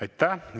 Aitäh!